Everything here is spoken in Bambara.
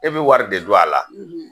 E bi wari de don a la